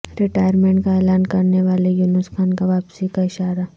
retirement کا اعلان کرنے والے یونس خان کا واپسی کا اشارہ